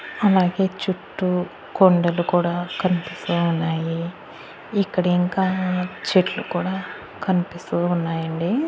అలాగే చుట్టూ కొండలు కూడా కనిపిస్తూ ఉన్నాయి ఇక్కడ ఇంకా చెట్లు కూడా కనిపిస్తూ ఉన్నాయండి.